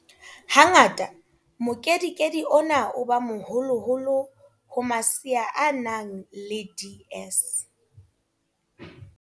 Ha ngata mokedikedi ona o ba moholoholo ho masea a nang le DS.